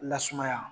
Lasumaya